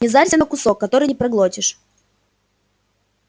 не зарься на кусок который не проглотишь